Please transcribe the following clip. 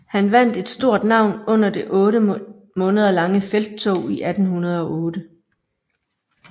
Han vandt et stort navn under det otte måneder lange felttog i 1808